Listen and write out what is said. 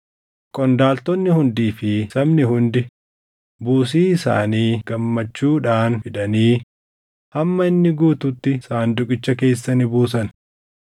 Qondaaltonni hundii fi sabni hundi buusii isaanii gammachuudhaan fidanii hamma inni guututti sanduuqicha keessa ni buusan.